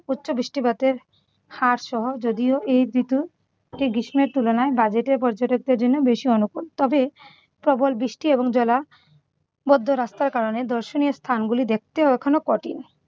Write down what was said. উচ্চ বৃষ্টিপাতের হারসহ যদিও এই ঋতু সেই গ্রীষ্মের তুলনায় budget এ পর্যটকদের জন্য বেশি অনুকুল। তবে প্রবল বৃষ্টি ও জলাবদ্ধ রাস্তার কারণে দর্শনীয় স্থানগুলো দেখতে এখনো কঠিন